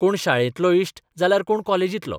कोण शाळेंतलो इश्ट जाल्यार कोण कॉलेर्जीतलो.